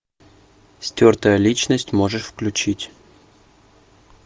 стертая личность можешь включить